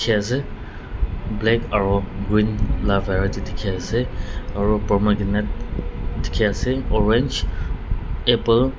te ase black aro green dikhae ase aro pomegranate dikhiaase orange apple .